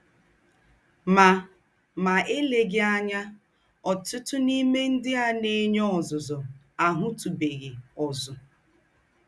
Mà Mà èlèghí ànyà, ọ̀tùtù n’íme ńdị́ à ná-ènyè ọ́zùzù àhụ̀tùbèghị́ ózù.